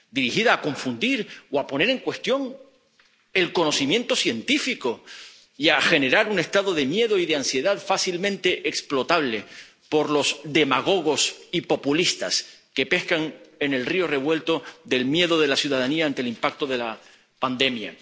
desinformación dirigida a confundir o a poner en cuestión el conocimiento científico y a generar un estado de miedo y de ansiedad fácilmente explotable por los demagogos y populistas, que pescan en el río revuelto del miedo de la ciudadanía ante el impacto de la pandemia.